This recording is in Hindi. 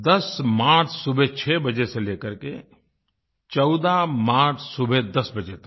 10 मार्च सुबह 6 बजे से लेकर के 14 मार्च सुबह 10 बजे तक